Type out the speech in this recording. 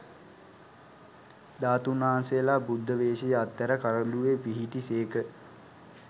ධාතූන් වහන්සේලා බුද්ධ වේශය අත්හැර කරඬුවේ පිහිටි සේක